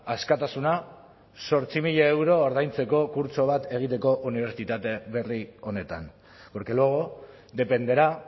askatasuna zortzi mila euro ordaintzeko kurtso bat egiteko unibertsitate berri honetan porque luego dependerá